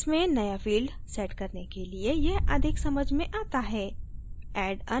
इस case में नया field set करने के लिए यह अधिक समझ में आता है